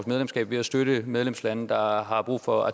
medlemskab ved at støtte medlemslande der har har brug for